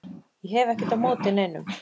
Ég hef ekkert á móti neinum